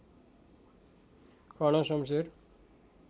Karna Shamsher